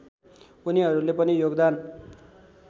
उनीहरूले पनि योगदान